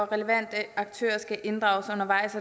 relevante aktører skal inddrages undervejs